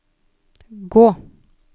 gå